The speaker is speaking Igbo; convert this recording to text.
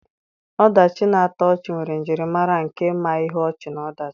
Ọdachi na-atọ ọchị nwere njirimara nke ma ihe ọchị na ọdachi.